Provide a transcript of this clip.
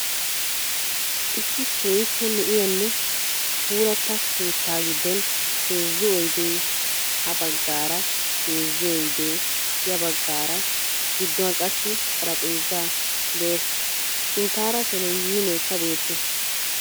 Issi keehippe lo'iyanne puulatta keettaa giddon heezzu oydee ha baggaara heezzu oydee ya baggaara gidduwan qassi xarphpheezay de'ees. Sinttaara televizhiineekka beettees.